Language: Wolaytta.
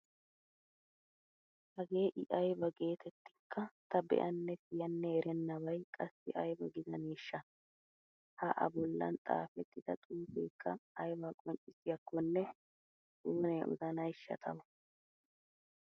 Hagee I ayba geetettinkka ta be'anne siyanne ernnabay qassi ayba gidaneeshsha! Ha A bollan xaafettida xuufeekka aybaa qonccissiyakkonne oonee odanayshsha tawu!